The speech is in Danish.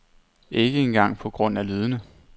Ikke engang på grund af lydene.